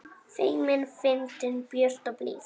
Feimin, fyndin, björt og blíð.